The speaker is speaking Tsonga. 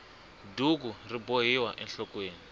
duku ri bohiwa enhlokweni